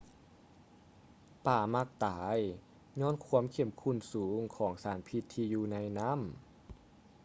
ປາມັກຕາຍຍ້ອນຄວາມເຂັ້ມຂຸ້ນສູງຂອງສານພິດທີ່ຢູ່ໃນນໍ້າ